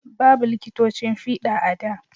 Babu liƙitocin fiɗa a da